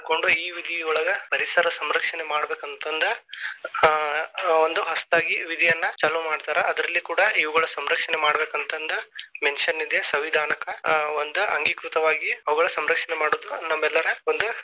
ಮಾಡ್ಕೊಂಡು ಈ ವಿಧಿಯೊಳಗ ಪರಿಸರ ಸಂರಕ್ಷಣೆ ಮಾಡಬೇಕಂತಂದ ಆ ಒಂದು ಹೊಸತಾಗಿ ವಿಧಿಯನ್ನ ಚಾಲು ಮಾಡ್ತಾರಾ. ಅದ್ರಲ್ಲಿ ಕೂಡಾ ಇವುಗಳ ಸಂರಕ್ಷಣೆ ಮಾಡ್ಬೇಕಂತನದ mention ಇದೆ ಸಂವಿದಾನಕ ಒಂದ ಅಂಗೀಕೃತವಾಗಿ ಅವುಗಳ ಸಂರಕ್ಷಣೆ ಮಾಡುದ ನಮ್ಮೆಲ್ಲರ ಒಂದು.